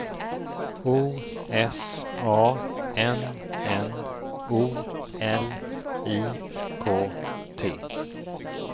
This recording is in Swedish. O S A N N O L I K T